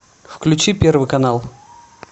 включи первый канал